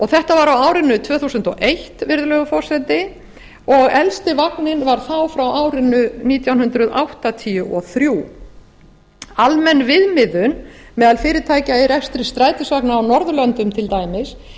þetta var á árinu tvö þúsund og eitt virðulegur forseti og elsti vagninn var þá frá árinu nítján hundruð áttatíu og þrjú almenn viðmiðun meðal fyrirtækja í rekstri strætisvagna á norðurlöndum til dæmis